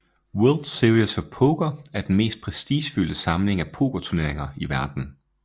World Series of Poker er den mest prestigefyldte samling af pokerturneringer i verden